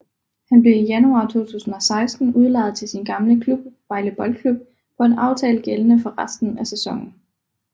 Han blev i januar 2016 udlejet til sin gamle klub Vejle Boldklub på en aftale gældende for resten af sæsonen